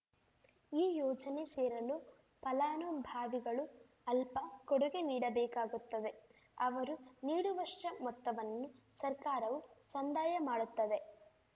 ಈ ಯೋಜನೆ ಸೇರಲು ಫಲಾನುಭಾವಿಗಳೂ ಅಲ್ಪ ಕೊಡುಗೆ ನೀಡಬೇಕಾಗುತ್ತದೆ ಅವರು ನೀಡುವಷ್ಟೇ ಮೊತ್ತವನ್ನು ಸರ್ಕಾರವೂ ಸಂದಾಯ ಮಾಡುತ್ತದೆ